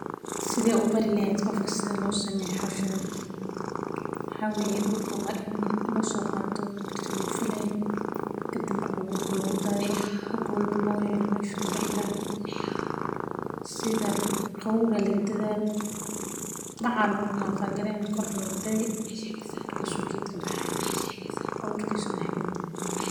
Sideed u bari lahayd qofka sida lo sameeyo hawshan, waxaa weye dulka in lo so qato birti lagu falaye, kadanbe aburka lagu dathiyo, hog walbo lo yelo meshu ka bixi lahay, sitha qawowga aya laga dathaya, bac aya lagu cover gareyni markas ayu geedka kabixi aburkisa.